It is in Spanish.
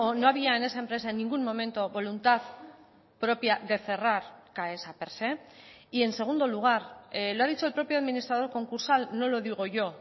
no había en esa empresa en ningún momento voluntad propia de cerrar caesa per se y en segundo lugar lo ha dicho el propio administrador concursal no lo digo yo